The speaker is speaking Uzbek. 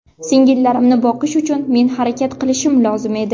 Singillarimni boqish uchun men harakat qilishim lozim edi.